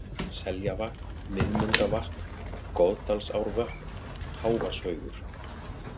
Seljavatn, Miðmundavatn, Goðdalsárvötn, Hávarshaugur